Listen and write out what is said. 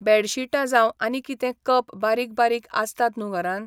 बॅडशिटां जावं आनी कितें कप बारीक बारीक आसतात न्हू घरान.